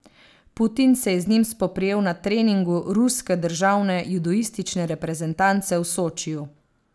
Putin se je z njim spoprijel na treningu ruske državne judoistične reprezentance v Sočiju.